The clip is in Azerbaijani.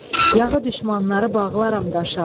Yağı düşmənləri bağlaram daşa.